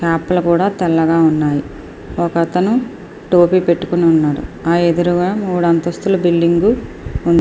క్యాప్లు కూడా తెల్లగా ఉన్నాయి. ఒక అతను టోపీ పెట్టుకొని ఉన్నాడు ఆ ఎదురుగా మూడు అంతస్తుల బిల్డింగ్ ఉంది.